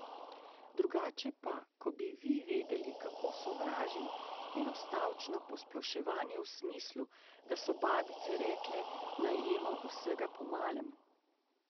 Drugače pa, ko bi vi vedeli, kako sovražim enostavčno posploševanje v smislu, da so babice rekle, naj jemo vsega po malem!